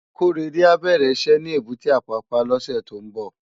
Korede á bèrè iṣè ni ébùté Apapa lòsè tó n bò